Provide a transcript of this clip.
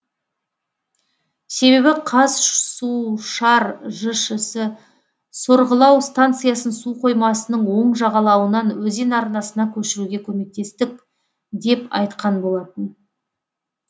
себебі қазсушар жшс сорғылау станциясын су қоймасының оң жағалауынан өзен арнасына көшіруге көмектестік деп айтқан болатын